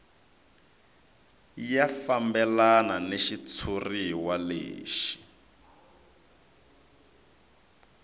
ya fambelana ni xitshuriwa lexi